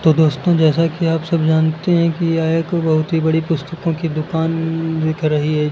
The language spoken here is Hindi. दोस्तों जैसा कि आप सब जानते हैं कि यह एक बहुत ही बड़ी पुस्तकों की दुकान दिख रही है।